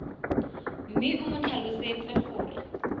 mme o mo tlhalosetse gore